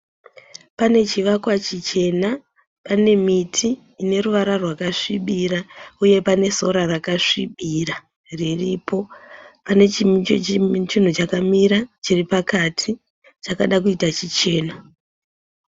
Pane chivakwa chichena pane miti ine ruvara rwakasvibira uye nesora rakasvibira riripo nechinhu chichena chakamira chichena.